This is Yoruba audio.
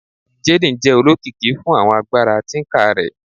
Jaden jẹ olokiki fun awọn agbara tinker rẹ